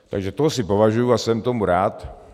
Takže tohle si považuji a jsem tomu rád.